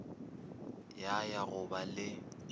ya ya go ba le